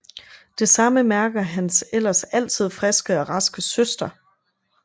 Det samme mærker hans ellers altid friske og raske søster